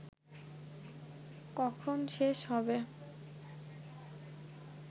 কখন শেষ হবে